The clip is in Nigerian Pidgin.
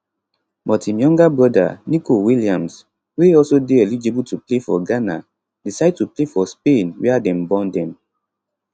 but im younger brother nico williams wey also dey eligible to play for ghana decide to play for spain wia dem born dem